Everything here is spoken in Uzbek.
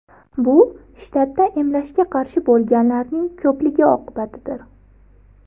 Bu shtatda emlashga qarshi bo‘lganlarning ko‘pligi oqibatidir.